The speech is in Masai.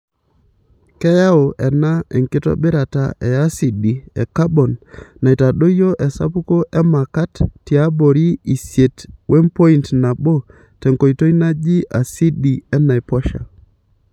Keyau ena enkitobirata e asidi e kabon neitadoyio esapuko e makat tiabori isiet wempoint nabotenkoitoi naji asidi enaiposha.